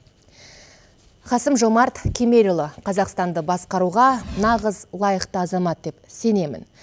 қасым жомарт кемелұлы қазақстанды басқаруға нағыз лайықты азамат деп сенемін